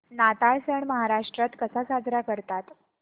नाताळ सण महाराष्ट्रात कसा साजरा करतात